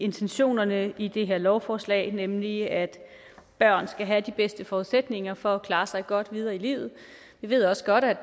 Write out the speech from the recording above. intentionerne i det her lovforslag nemlig at børn skal have de bedste forudsætninger for at klare sig godt videre i livet vi ved også godt at